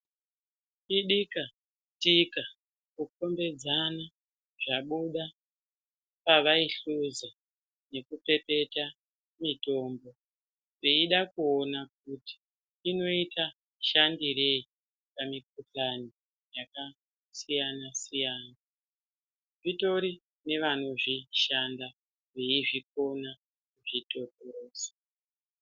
Idikatika kukombedzana zvabuda pavaihluza nekupepeta mitombo. Veida kuona kuti inoita shandirei pamikuhlani yakasiyana-siyana, zvitori nevanozvishanda veizvikona kuzvitotorotsa.